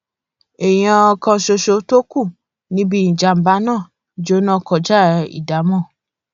èèyàn kan ṣoṣo tó kù níbi ìjàmbá náà jóná kọjá ìdámò